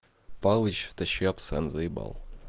палыч тащи абсент заебал